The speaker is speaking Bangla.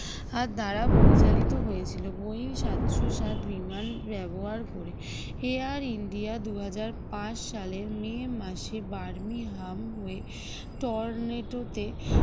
আর দ্বারা পরিচালিত হয়েছিল boying সাতশো সাত বিমান ব্যবহার করে air india দুই হাজার পাঁচ সালের মে মাসে বার্মিংহাম হয়ে টর্নেডোতে